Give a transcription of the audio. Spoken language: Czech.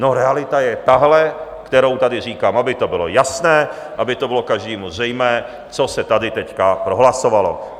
No, realita je tahle, kterou tady říkám, aby to bylo jasné, aby to bylo každému zřejmé, co se tady teď prohlasovalo.